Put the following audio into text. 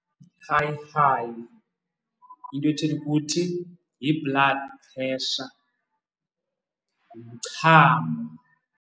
High-high, into ethetha ukuthi yi-blood pressure, ngumchamo.